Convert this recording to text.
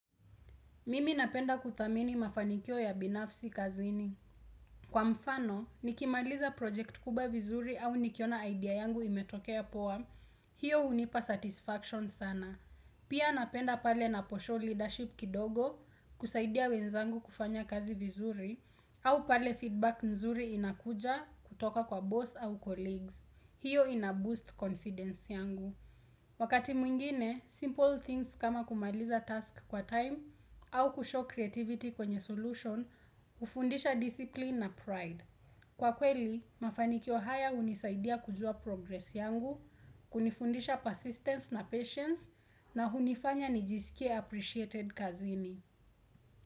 Mimi napenda kudhamini mafanikio ya binafsi kazini. Kwa mfano, nikimaliza project kubwa vizuri au nikiona idea yangu imetokea poa, hiyo hunipa satisfaction sana. Pia napenda pale napo show leadership kidogo kusaidia wenzangu kufanya kazi vizuri au pale feedback nzuri inakuja kutoka kwa boss au colleagues. Hiyo inaboost confidence yangu. Wakati mwingine, simple things kama kumaliza task kwa time au kushow creativity kwenye solution, hufundisha discipline na pride. Kwa kweli, mafanikio haya hunisaidia kujua progress yangu, kunifundisha persistence na patience, na hunifanya nijisikie appreciated kazini.